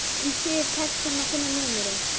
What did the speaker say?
Um síðir tekst honum að finna númerið.